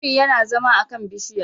Biri yana zama a kan bishiya